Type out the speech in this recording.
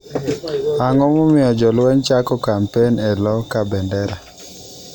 Ang'o momiyo jolweny chako kampen e lo Kabendera?